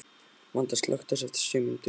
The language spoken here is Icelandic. Vanda, slökktu á þessu eftir sjö mínútur.